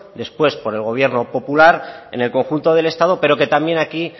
después por el gobierno popular en el conjunto del estado pero que también aquí